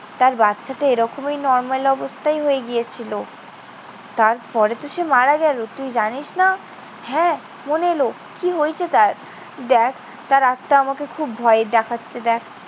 তার বাচ্চাটা এরকমই normal অবস্থায়ই হয়ে গিয়েছিল। তারপরে তো সে মারা গেল। তুই জানিস না? হ্যাঁ, মনে এলো। কি হয়েছে তার? দেখ, তার আত্মা আমাকে খুব ভয় দেখাচ্ছে দেখ।